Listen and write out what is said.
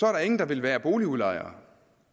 er der ingen der vil være boligudlejere